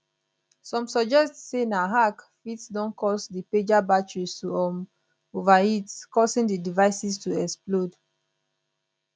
some suggest say na hack fit don cause di pager batteries to um overheat causing di devices to explode